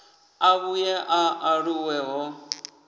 a vhuye a aluwe ho